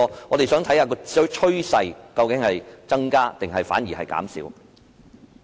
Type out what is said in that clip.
我們想看看當中的趨勢究竟是有所增加，還是反而減少。